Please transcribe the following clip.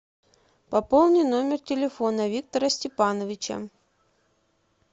пополни номер телефона виктора степановича